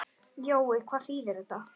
Jói, hvað þýðir þetta?